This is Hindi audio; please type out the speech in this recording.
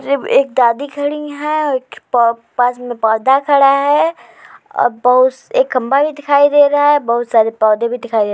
जिब एक दादी खड़ीं हैं औ एक प पास में पौधा खड़ा है। अ बउस एक खमा भी दिखाई दे रहा है। बहुत सारे पौधे भी दिखाई दे --